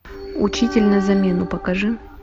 учитель на замену покажи